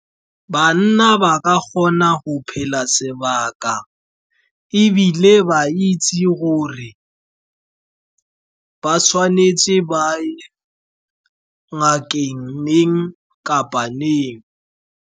Banna ba ka kgona go phela sebaka, ebile ba itse gore ba tshwanetse ba ye ngakeng neng kapa neng.